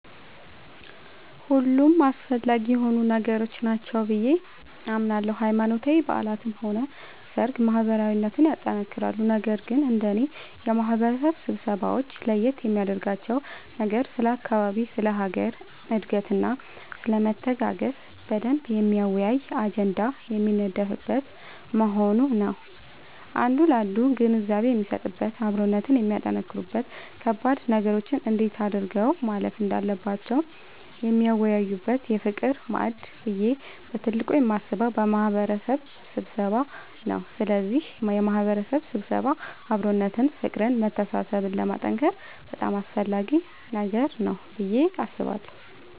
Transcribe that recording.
ሁሉም አስፈላጊ የሆኑ ነገሮች ናቸው ብዬ አምናለሁ ሃይማኖታዊ በዓላትም ሆነ ሰርግ ማህበራዊነትን ያጠነክራሉ ነገር ግን እንደኔ የማህበረሰብ ስብሰባወች ለየት የሚያደርጋቸው ነገር ስለ አካባቢ ስለ ሀገር እድገትና ስለመተጋገዝ በደንብ የሚያወያይ አጀንዳ የሚነደፍበት መሆኑ ነዉ አንዱ ላንዱ ግንዛቤ የሚሰጥበት አብሮነትን የሚያጠነክሩበት ከባድ ነገሮችን እንዴት አድርገው ማለፍ እንዳለባቸው የሚወያዩበት የፍቅር ማዕድ ብዬ በትልቁ የማስበው የማህበረሰብ ስብሰባን ነዉ ስለዚህ የማህበረሰብ ስብሰባ አብሮነትን ፍቅርን መተሳሰብን ለማጠንከር በጣም አስፈላጊ ነገር ነዉ ብዬ አስባለሁ።